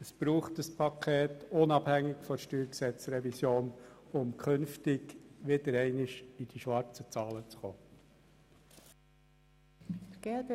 Es braucht dieses Paket, unabhängig von der StG-Revision, um künftig wieder einmal schwarze Zahlen zu schreiben.